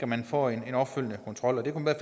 man får en opfølgende kontrol det kunne